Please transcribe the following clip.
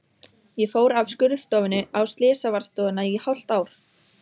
Ég fór af skurðstofunni á slysavarðstofuna í hálft ár.